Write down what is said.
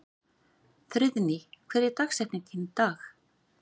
Friðný, hver er dagsetningin í dag?